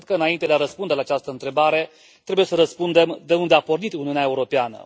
Cred că înainte de a răspunde la această întrebare trebuie să răspundem de unde a pornit Uniunea Europeană?